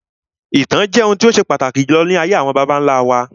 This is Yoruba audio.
Ìtàn akọọlẹ jẹ́ ohun tó ṣe pàtàkì jùlọ ní ayé àwọn bàbá nlá wa